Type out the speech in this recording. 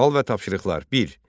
Sual və tapşırıqlar bir.